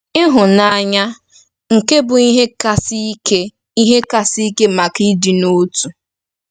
Ịhụnanya, nke bụ ihe kasị ike ihe kasị ike maka ịdị n'otu.